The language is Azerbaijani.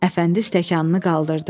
Əfəndi stəkanını qaldırdı.